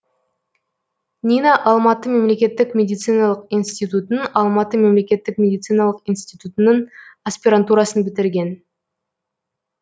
нина алматы мемлекеттік медициналық институтын алматы мемлекеттік медициналық институтының аспирантурасын бітірген